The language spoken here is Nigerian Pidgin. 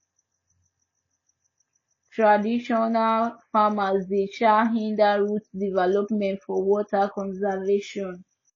traditional farmers dey um hinder root development for water conservation